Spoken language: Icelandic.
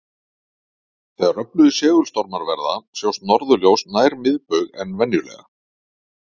Þegar öflugir segulstormar verða sjást norðurljós nær miðbaug en venjulega.